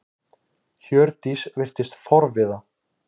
Hjördís virtist forviða.